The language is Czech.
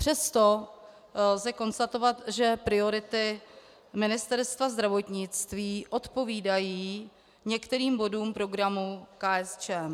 Přesto lze konstatovat, že priority Ministerstva zdravotnictví odpovídají některým bodům programu KSČM.